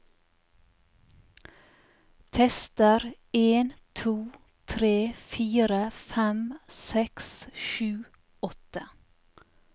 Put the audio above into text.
Tester en to tre fire fem seks sju åtte